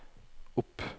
opp